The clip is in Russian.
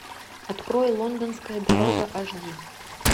открой лондонская дорога аш ди